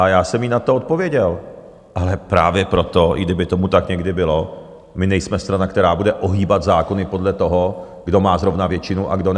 A já jsem jí na to odpověděl - ale právě proto, i kdyby tomu tak někdy bylo, my nejsme strana, která bude ohýbat zákony podle toho, kdo má zrovna většinu a kdo ne.